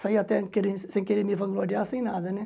Saí até querer sem querer me vangloriar, sem nada, né?